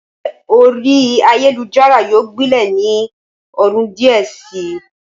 Ìfẹ́ orí ayélujára yóò gbilẹ̀ ni ọdún díẹ̀ si.